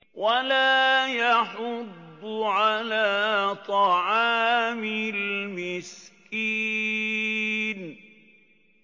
وَلَا يَحُضُّ عَلَىٰ طَعَامِ الْمِسْكِينِ